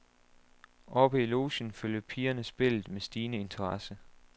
Oppe i logen følger pigerne spillet med stigende interesse.